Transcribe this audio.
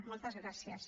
moltes gràcies